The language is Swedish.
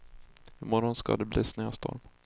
I morgon ska det bli snöstorm.